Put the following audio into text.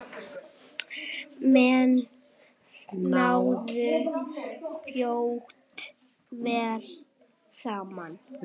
Menn náðu fljótt vel saman.